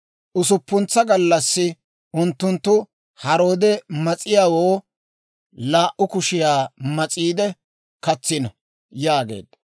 Usuppuntsa gallassi unttunttu haroode mas'iyaawoo laa"u kushiyaa mas'iide, katsiino» yaageedda.